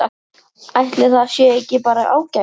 Ætli það sé ekki bara ágætt?